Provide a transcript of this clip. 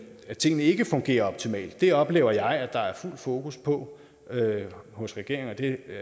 at tingene ikke fungerer optimalt det oplever jeg at der er fuld fokus på hos regeringen og det